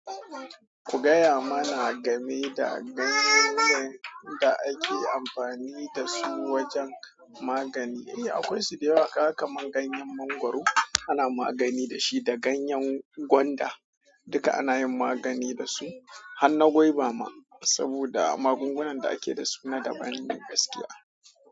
Ku gaya mana game da ganyoyin da ake amfani da su wajen magani. Eh, akwai su da yawa, kaga kamarln ganyen mangwaro ana magani da shi, da ganyen gwanda duka ana yin magani da su. Hanna gwauba ma saboda magungunan da ake da su na da ban ne gaskiya.